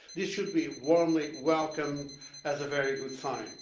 This should be warmly welcomed as a very good sign.